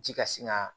Ji ka sin ka